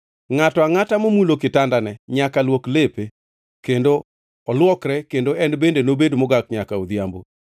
Ngʼato angʼata momulo kitandane nyaka luok lepe, kendo olwokre, kendo en bende nobed mogak nyaka odhiambo.